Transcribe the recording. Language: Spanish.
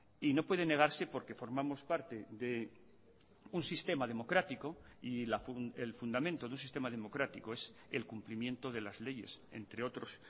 y no puede negarse porque formamos parte de un sistema democrático y el fundamento de un sistema democrático es el cumplimiento de las leyes entre otros